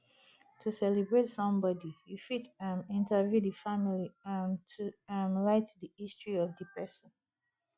to celebrate some body you fit um interview the family um to um write di history of di person